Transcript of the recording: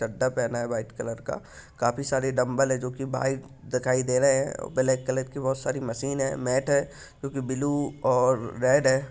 चड्ढा पहना है white colour का। काफी सारे डंबल हैं जो कि व्हाइट दिखाई दे रहे हैं ब्लैक कलर की बहुत सारी मशीन हैं मेट है क्योंकि ब्लू और रेड है।